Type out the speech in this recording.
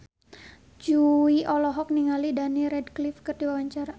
Jui olohok ningali Daniel Radcliffe keur diwawancara